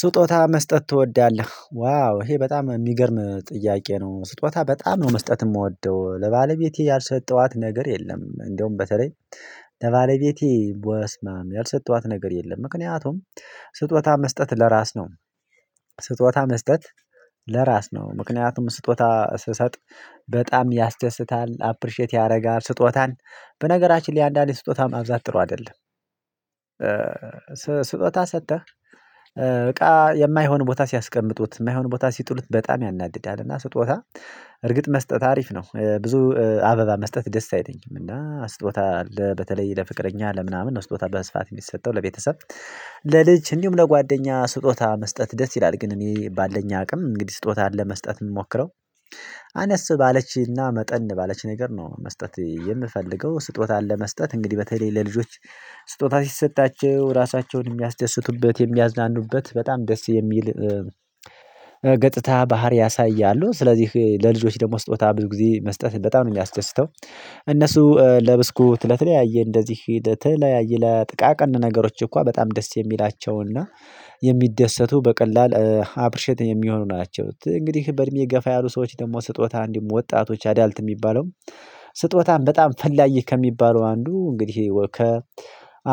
ስጦታ መስጠት ትወዳለህ ዋው ይሄ በጣም የሚገርም ጥያቄ ነው? ስጦታ በጣም ነው መስጠት የምወደው ለባለቤቴ ያልሰጠኋት ነገር የለም። እንደውም በተለይ ለባለ ቤቴ በስማም ያልሰጠኋት ነገር የለም። ምክንያቱም ስጦታ መስጠት ለራስ ነው። ስጦታ መስጠት ለራስ ነው። ምክንያቱም ስጦታ ስሰጥ በጣም ያስደስታል። አፕሪሼት ያደረጋ ስጦታን በነገራችን ላይ አንዳንዴ ስጦታ ማብዛት ጥሩ አይደለም። ስጦታ ሰጥተህ በቃ የማይሆን ቦታ ሲያስቀምጡት የማይሆን ቦታ ሲጥሉት በጣም ያናድዳል። እና ስጦታ እርግጥ መስጠት አሪፍ ነው። ብዙ አበባ መስጠት ደስ አይተኝም እና ስጦታ በተለይ ለፍቅረኛ ለምናምን ስጦታ በስፋት የሚሰጠው ለቤተሰብ። ለልጅ እንዲሁም ለጓደኛ ስጦታ መስጠት ደስ ይላል ግን እኔ ባለኝ አቅም እንግዲህ ስጦታ አለ መስጠት የምሞክረው። አነስ ባለችና መጠን ባለች ነገር ነው። መስጠት የምፈልገው ስጦታ ለመስጠት እንግዲህ በተለይ ለልጆች። ስጦታ ሲሰጣቸው ራሳቸውን የሚያስደስቱበት የሚያዝናኑበት በጣም ደስ የሚል። ገጥታ ባህሪ ያሳያሉ። ስለዚህ ለልጆች ደግሞ ስትወጣ ብዙ ጊዜ መስጠት በጣም ነው የሚያስደስተው። እነሱ ለብስኩት ለተለያዬ እንደዚህ ለተለያዬ ለጥቃቅን ነገሮች እንኳን በጣም ደስ የሚላቸውና የሚደሰቱ በቀላል አፕሪሼት የሚሆኑ ናቸው። እንግዲህ በእድሜ የገፋ ያሉ ሰዎች ደግሞ ስጦታ እንዲሁም ወጣቶች አዳልት የሚባለው። ስጦታም በጣም ፈላጊ ከሚባለው አንዱ እንግዲህ ከ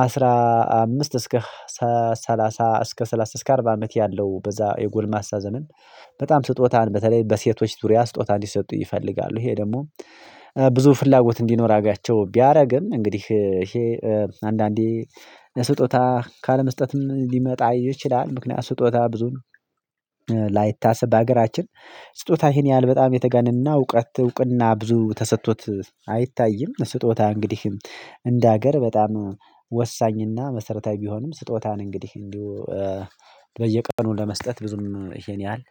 አስራ አምስት እስከ ሰላሳ እስከ ሰላሳ እስከ አርባ አመት ያለው በዛ የጎልማሳ ዘመን። በጣም ስጦታን በተለይ በሴቶች ዙሪያ ስጦታ እንዲሰጡ ይፈልጋሉ። ይሄ ደግሞ ብዙ ፍላጎት እንዲኖራቸው ቢያደርግም እንግዲህ ይሄ አንዳንዴ ለስጦታ ካለመስጠትም ሊመጣ ይችላል። ምክንያት ስጦታ ብዙን ላይታሰብ በሀገራችን ስጦታዬን ይሄን ያህል በጣም የተገነነና እውቀት እውቅና ብዙ ተሰጥቶት አይታይም። ስጦታ እንግዲህ እንደ ሀገር በጣም ወሳኝና መሰረታዊ ቢሆንም። ስጦታን እንግዲህ እንዲሁ በየቀኑ ለመስጠት ብዙም ይሄን ያህል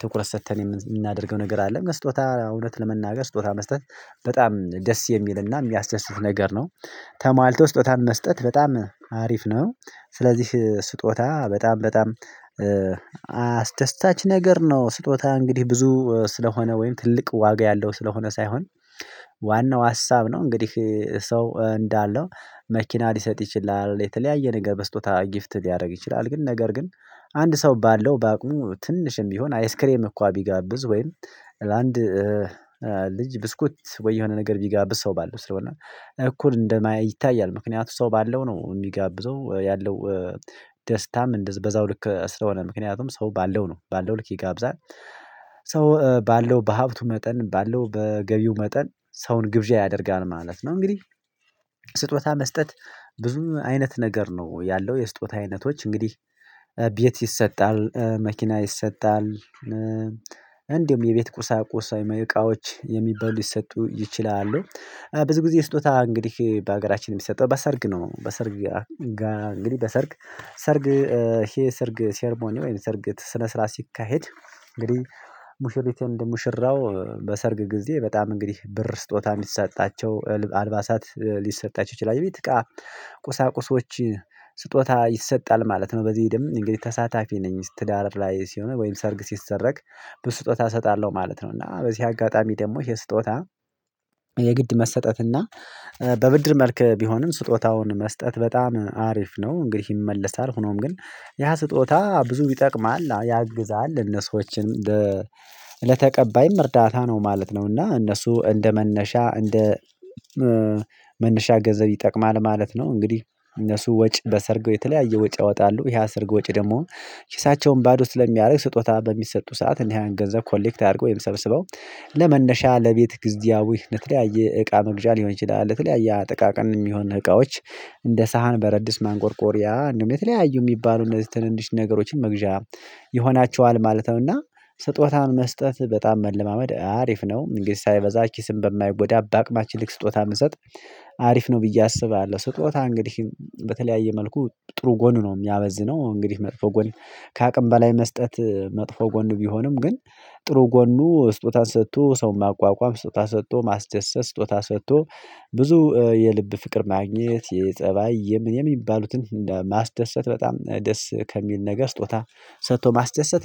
ትኩረት ሰጥተን የምናደርገው ነገር አለ። መስጦታ እውነት ለመናገር ስጦታ መስጠት በጣም ደስ የሚልና የሚያስደስት ነገር ነው። ተሟልቶ ስጦታን መስጠት በጣም አሪፍ ነው። ስለዚህ ስጦታ በጣም በጣም አስደስታች ነገር ነው። ስጦታ እንግዲህ ብዙ ስለሆነ ወይም ትልቅ ዋጋ ያለው ስለሆነ ሳይሆን። ዋናው ሀሳብ ነው እንግዲህ ሰው እንዳለው መኪና ሊሰጥ ይችላል። የተለያየ ነገር በስጦታ ጊፍት ሊያደርግ ይችላል። ግን ነገር ግን አንድ ሰው ባለው በአቅሙ ትንሽም ቢሆን አይስክሬም እንኳን ቢጋብዝ ወይም ለአንድ ልጅ ብስኩት ወይ የሆነ ነገር ቢጋብዝ ሰው ባለው ስለሆነ እኩል እንደማ ይታያል። ምክንያቱም ሰው ባለው ነው የሚጋብዘው ያለው። ደስታም እንደ በዛው ልክ ስለሆነ ምክንያቱም ሰው ባለው ነው ባለው ልክ ይጋብዛል። ሰው ባለው በሀብቱ መጠን ባለው በገቢው መጠን ሰውን ግብዣ ያደርጋል ማለት ነው። እንግዲህ ስጦታ መስጠት ብዙ አይነት ነገር ነው ያለው የስጦታ አይነቶች እንግዲህ ቤት ይሰጣል መኪና ይሰጣል። እንዲሁም የቤት ቁሳቁስ ወዮም እቃዎች የሚበሉ ሊሰጡ ይችላሉ። ብዙ ጊዜ ስጦታ እንግዲህ በሀገራችን የሚሰጠው በሰርግ ነው። በሰርግ ጋር እንግዲህ በሰርግ ሰርግ ይሄ ሰርግ ሴርሞኒ ወይም ሰርግ ስነ ስርዓት ሲካሄድ። እንግዲህ ሙሽሪት ኤንድ ሙሽራው በሰርግ ጊዜ በጣም እንግዲህ ብር ስጦታ ሊሰጣቸው አልባሳት ሊሰጣቸው ይችላል ቤት ቁሳቁሶች ስጦታ ይሰጣል ማለት ነው። በዚህ ደግሞ እንግዲህ ተሳታፊ ነኝ ትዳር ላይ ሲሆን ወይም ሰርግ ሲሰረግ ብዙ ስጦታ እሰጣለሁ ማለት ነው። እና በዚህ አጋጣሚ ደግሞ ይሄ ስጦታ የግድ መሰጠትና በብድር መልክ ቢሆንም ስጦታውን መስጠት በጣም አሪፍ ነው። እንግዲህ ይመለሳል ሆኖም ግን ያ ስጦታ ብዙ ይጠቅማል ያግዛል እነሱዎችን ለተቀባይም እርዳታ ነው ማለት ነው። እና እነሱ እንደ መነሻ እንደ መነሻ ገንዘብ ይጠቅማል ማለት ነው። እንግዲህ እነሱ ወጪ በሰርጉ የተለያየ ወጪ ያወጣሉ ይሄ የሰርግ ወጪ ደግሞ ኪሳቸውን ባዶ ስለሚያደርግ። ስጦታ በሚሰጡ ሰዓት እና ያን ገንዘብ ኮሌክት አድርገው ሰብስበው ለመነሻ ለቤት ጊዜያዊ ለተለያየ እቃ መግዣ ሊሆን ይችላል። ለተለያየ ጥቃቅን የሚሆን እቃዎች እንደ ሳህን ብረትድስት ማንቆርቆሪያ እንዲሁም የተለያዩ የሚባሉ እነዚህ ትንንሽ ነገሮችን መግዣ ይሆናቸዋል ማለት ነው። እና ስጦታን መስጠት በጣም መለማመድ አሪፍ ነው። እንዲህ ሳይበዛ ኪስን በማይጎዳ በአቅማችን ልክ ስጦታ ብንሰጥ አሪፍ ነው ብዬ አስባለሁ። ስጦታ እንግዲህ በተለያየ መልኩ ጥሩ ጎን ነው የሚያመዝነው። እንግዲህ መጥፎ ጎን ከአቅም በላይ መስጠት መጥፎ ጎን ቢሆንም ግን ጥሩ ጎኑ ስጦታን ሰጥቶ ሰውን ማቋቋም ስጦታ ሰጥቶ ማስደሰት ስጦታ ሰጥቶ ብዙ የልብ ፍቅር ማግኘት የጸባይ የሚባሉትን ማስደሰት በጣም ደስ ከሚል ነገር ስጦታ። ሰጥቶ ማስደሰት